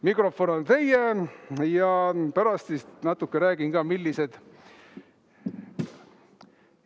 Mikrofon on teie ja pärast ma natuke räägin, millised ...